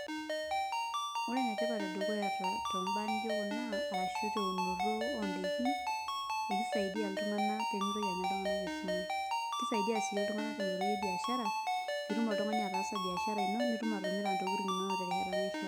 Ore ene tipat e dukuya too mbaa nijo kuna arashu te unoto o ndaikin e kisaidia iltung'anak pee mitoki anya iltung'anak esumash. Kisaidia sii iltung'anak te nkoitoi e biashara piitum oltung'ani ataasa baishara ino nitum atimira ntokitin inonok te nkata naishaa.